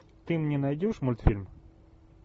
ты мне найдешь мультфильм